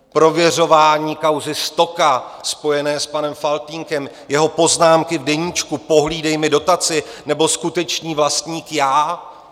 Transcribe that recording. Prověřování kauzy Stoka spojené s panem Faltýnkem, jeho poznámky v deníčku, pohlídej mi dotaci, nebo skutečný vlastník já.